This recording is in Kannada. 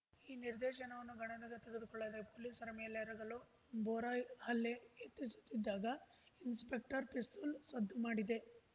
ಈ ನಿರ್ದೇಶನವನ್ನು ಗಣನೆ ತೆಗೆದುಕೊಳ್ಳದೆ ಪೊಲೀಸರ ಮೇಲೆರಗಲು ಬೋರಾ ಹಲ್ಲೆ ಯತ್ನಿಸುತ್ತಿದ್ದಾಗ ಇನ್ಸ್‌ಪೆಕ್ಟರ್‌ ಪಿಸ್ತೂಲ್‌ ಸದ್ದು ಮಾಡಿದೆ